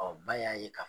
ba y'a ye ka